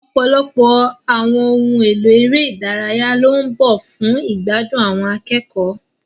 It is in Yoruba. Ọ̀pọ̀lọpọ̀ àwọn ohun èlò eré ìdárayá ló ń bọ̀ fún ìgbádùn àwọn akẹ́kọ̀ọ́.